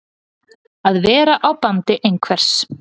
Að vera á bandi einhvers